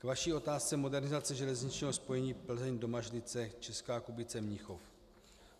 K vaší otázce modernizace železničního spojení Plzeň - Domažlice - Česká Kubice -Mnichov.